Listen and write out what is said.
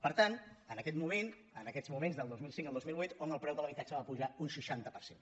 per tant en aquest moment en aquests moments del dos mil cinc al dos mil vuit on el preu de l’habitatge va pujar un seixanta per cent